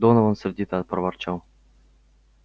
донован сердито проворчал